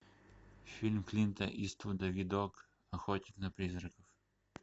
фильм клинта иствуда видок охотник на призраков